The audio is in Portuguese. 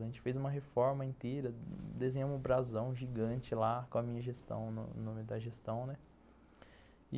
A gente fez uma reforma inteira, desenhamos um brasão gigante lá com a minha gestão, no no o nome da gestão, né?